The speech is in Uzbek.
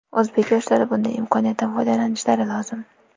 O‘zbek yoshlari bunday imkoniyatdan foydalanishlari lozim.